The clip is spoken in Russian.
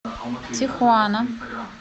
тихуана